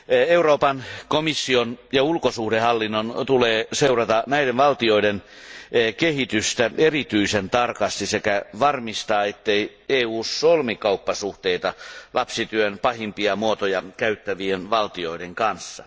Euroopan komission ja ulkosuhdehallinnon tulee seurata näiden valtioiden kehitystä erityisen tarkasti sekä varmistaa, ettei EU solmi kauppasuhteita lapsityön pahimpia muotoja käyttävien valtioiden kanssa.